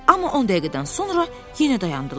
Amma 10 dəqiqədən sonra yenə dayandılar.